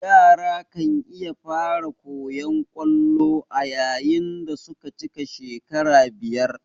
Yara kan iya fara koyan kwallo ayayin dasuka cika shekara biyar